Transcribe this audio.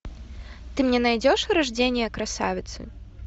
ты мне найдешь рождение красавицы